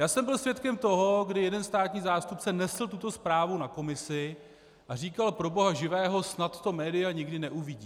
Já jsem byl svědkem toho, kdy jeden státní zástupce nesl tuto zprávu na komisi a říkal: pro boha živého, snad to média nikdy neuvidí.